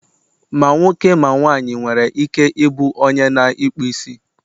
ma nwoke, ma nwanyị nwere ike ị bụ u onye na ịkpụ isi